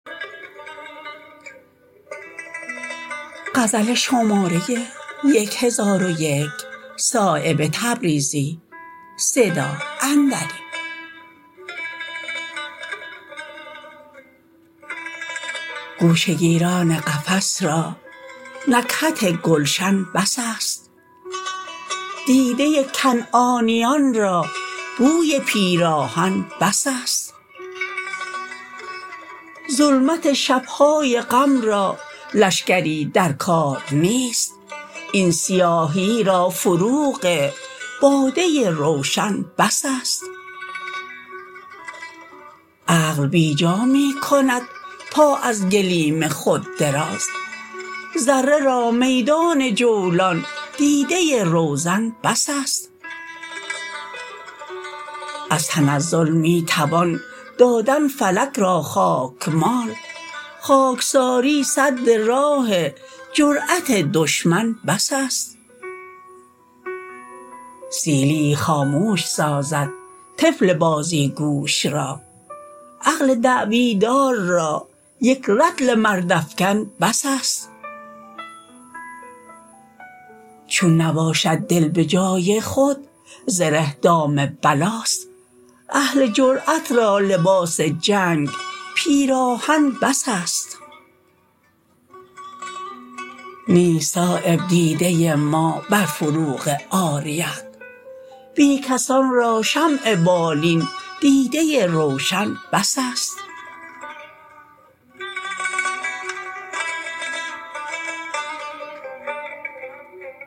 گوش گیران قفس را نکهت گلشن بس است دیده کنعانیان را بوی پیراهن بس است ظلمت شب های غم را لشکری در کار نیست این سیاهی را فروغ باده روشن بس است عقل بیجا می کند پا از گلیم خود دراز ذره را میدان جولان دیده روزن بس است از تنزل می توان دادن فلک را خاکمال خاکساری سد راه جرأت دشمن بس است سیلیی خاموش سازد طفل بازیگوش را عقل دعوی دار را یک رطل مرد افکن بس است چون نباشد دل به جای خود زره دام بلاست اهل جرأت را لباس جنگ پیراهن بس است نیست صایب دیده ما بر فروغ عاریت بی کسان را شمع بالین دیده روشن بس است